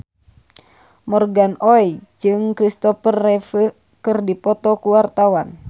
Morgan Oey jeung Christopher Reeve keur dipoto ku wartawan